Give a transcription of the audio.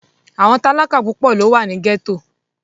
àwọn talaka pupọ lo wa ni gẹto.